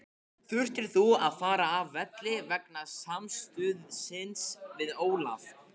Þurftir þú að fara af velli vegna samstuðsins við Ólaf?